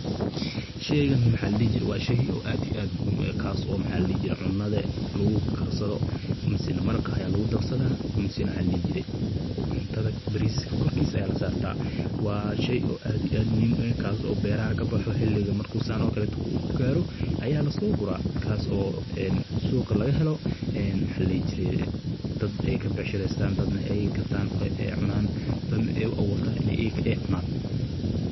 Sheeygan wa shey aad iyo aad muhiim ueh kas oo cunuda lugukarsado masane maraqa aya lugudarsada, cuntada bariska korkisa aya lasartaa wa shey aad iyo aad muhim ueh kas oo beraha kabaxa, xiligi marku saan okalo ugaro aya lasogura kas oo suuqa lagahelo, dad ay kabacshireystan dadna ey gatan dadna ay uaburtan say uka ucunan.